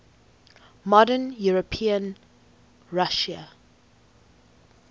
modern european russia